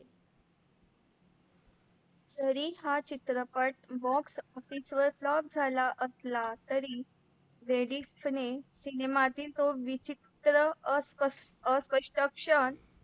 तरी हा चित्रपट box अतिशय blocky झाला असला तरी लेडीज ने सिनेमातील तो विचित्र अकत क्षण